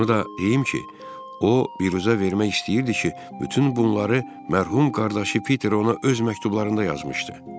Onu da deyim ki, o biruzə vermək istəyirdi ki, bütün bunları mərhum qardaşı Piter ona öz məktublarında yazmışdı.